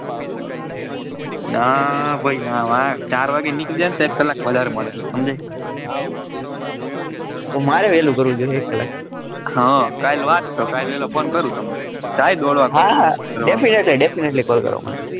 ના ભાઈ ના ચાર વાગે નીકળી જઈએ ને તો એક કલ્લાક વાધારે મળે હમજાય મારે વેલુ કરવું જોઈએ એક કલ્લાક હ કલ વાત તો કલ વેલો phone કરું તમને કઈ દેડવા હા હા definitely definetly call કરો મને.